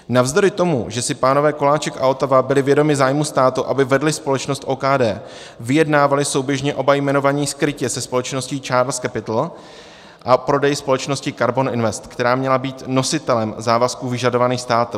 Navzdory tomu, že si pánové Koláček a Otava byli vědomi zájmu státu, aby vedli společnost OKD, vyjednávali souběžně oba jmenovaní skrytě se společností CHARLES CAPITAL o prodeji společnosti KARBON INVEST, která měla být nositelem závazků vyžadovaných státem.